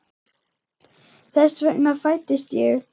Þess vegna fæddist ég.